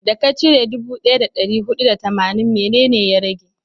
da ka cire dubu daya da dari hudu da tamanin, mene ne ya rage?